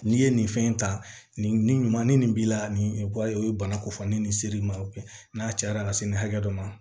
N'i ye nin fɛn in ta nin ɲuman ni nin b'i la nin o ye bana ko fɔ ni nin ser'i ma n'a cayara ka se nin hakɛ dɔ ma